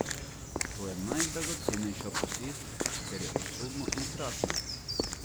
To je najdragocenejša posest, ker je usodno enkratna.